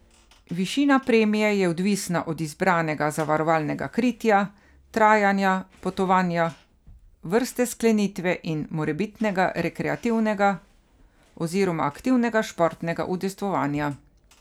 Višina premije je odvisna od izbranega zavarovalnega kritja, trajanja potovanja, vrste sklenitve in morebitnega rekreativnega oziroma aktivnega športnega udejstvovanja.